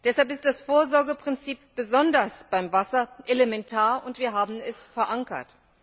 Deshalb ist das Vorsorgeprinzip besonders beim Wasser elementar, und wir haben es verankert.